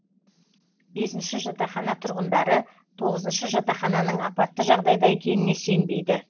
бесінші жатақхана тұрғындары тоғызыншы жатақханың апатты жағдайда екеніне сенбейді